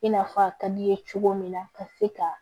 I n'a fɔ a ka d'i ye cogo min na ka se ka